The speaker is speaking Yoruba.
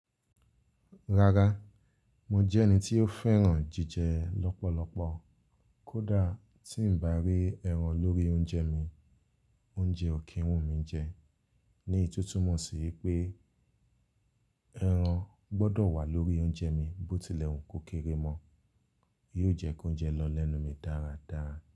Rárá, mo jẹ́ ẹni tí ó fẹ́ràn jíjẹ lọ́pọ̀lọpọ̀. Kódà tí ń bá rí ẹran lórí oúnjẹ mi, oúnjẹ ò kí ń wù mí jẹ. Ní eyi to túmọ̀ sí wipé ẹran gbọ́dọ̀ wà lórí oúnjẹ mi bó tilẹ̀ ń kó kéré mọ́. Yóò jẹ́ kí oúnjẹ lọ lẹ́nu mi dáradára.